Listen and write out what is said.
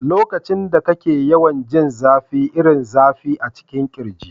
Lokacin da kake yawan jin zafi irin zafi a cikin kirji.